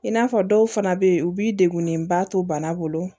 I n'a fɔ dɔw fana bɛ yen u b'i degunnenba to bana bolo